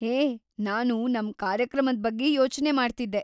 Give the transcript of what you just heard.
ಹೇ, ನಾನು ನಮ್ ಕಾರ್ಯಕ್ರಮದ್ ಬಗ್ಗೆ ಯೋಚ್ನೆ ಮಾಡ್ತಿದ್ದೆ.